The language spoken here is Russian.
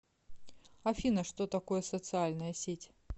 афина что такое социальная сеть